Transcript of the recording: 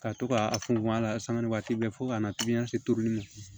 Ka to k'a funfun a la samati bɛɛ fɔ ka na tobili ma